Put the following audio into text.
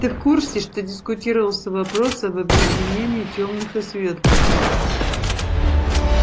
ты в курсе что дискутировался вопрос об объединении тёмных и светлых